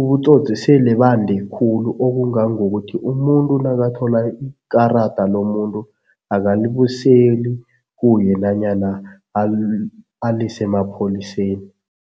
ubutsotsi sele bande khulu okungangokuthi umuntu nakathola ikarada lomuntu akalibuseli kuye nanyana alise emapholiseni.